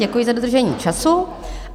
Děkuji za dodržení času.